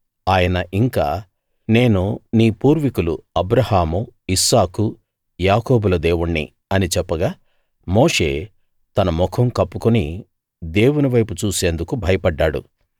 ఆయన ఇంకా నేను నీ పూర్వికులు అబ్రాహాము ఇస్సాకు యాకోబుల దేవుణ్ణి అని చెప్పగా మోషే తన ముఖం కప్పుకుని దేవుని వైపు చూసేందుకు భయపడ్డాడు